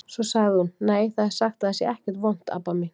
Svo sagði hún: Nei, það er sagt að það sé ekkert vont, Abba mín.